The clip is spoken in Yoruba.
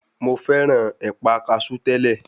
Mo fẹ́ràn ẹ̀pà kasú tẹ́lẹ̀.